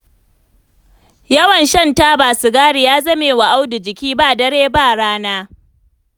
Yawan shan taba sigari ya zamewa Audu jiki, ba dare ba rana.